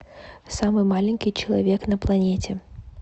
самый маленький человек на планете